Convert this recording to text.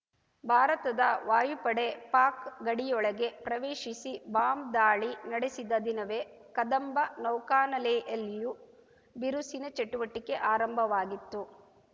ಭಾರತದ ವಾಯುಪಡೆ ಪಾಕ್‌ ಗಡಿಯೊಳಗೆ ಪ್ರವೇಶಿಸಿ ಬಾಂಬ್‌ ದಾಳಿ ನಡೆಸಿದ ದಿನವೇ ಕದಂಬ ನೌಕಾನೆಲೆಯಲ್ಲಿಯೂ ಬಿರುಸಿನ ಚಟುವಟಿಕೆ ಆರಂಭವಾಗಿತ್ತು